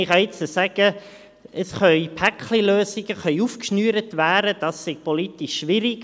Man kann jetzt sagen, es sei politisch schwierig,